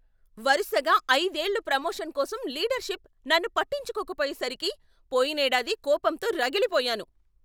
వరుసగా ఐదేళ్ళు ప్రమోషన్ కోసం లీడర్షిప్ నన్ను పట్టించుకోకపోయేసరికి పోయినేడాది కోపంతో రగిలిపోయాను.